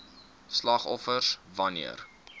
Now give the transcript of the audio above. slagoffers wan neer